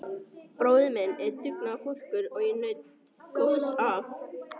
Bróðir minn er mikill dugnaðarforkur og ég naut góðs af.